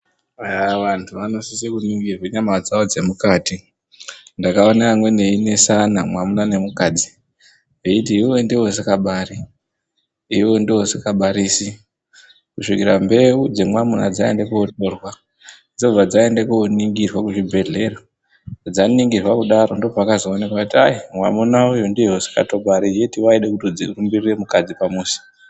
Eya vantu vanosisirwa kuningirwe nhengo dzawo dzemukati ndakaone amweni einesana mwamuna nemukadzi veiti iwewe ndiwe usingabari ,iwewe ndiwe usingabarisi kusvikira mbeu dzemwamuna dzaende kotorwa dzobva dzaende koningirwa kuzvibhehlera dzaningirwa kudaro ndopakozoenekwe kuti ai! mwamuna uyu ndiye usikatobari yeti waide kutorumbirire mukadzi pamuzi.